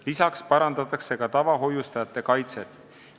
Lisaks parandatakse tavahoiustajate kaitset.